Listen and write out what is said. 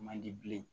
Man di bilen